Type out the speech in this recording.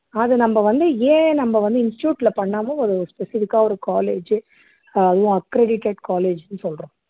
அத நம்ம வந்து ஏன் நம்ம வந்து ஒரு institute ல பண்ணாம ஒரு specific ஆ ஒரு college அதுவும் accredited college ன்னு சொல்றோம்